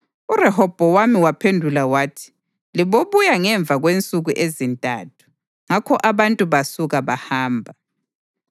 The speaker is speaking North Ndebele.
URehobhowami wabaphendula wathi: “Libobuya ngemva kwensuku ezintathu.” Ngakho abantu basuka bahamba.